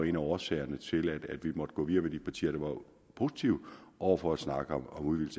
en af årsagerne til at vi måtte gå videre med de partier der var positive over for at snakke om